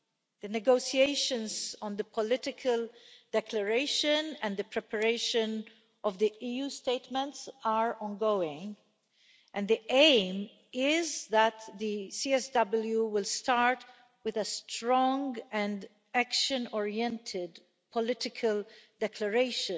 The negotiations on the political declaration and the preparation of the EU statements are ongoing, and the aim is that the CSW will start with a strong and action oriented political declaration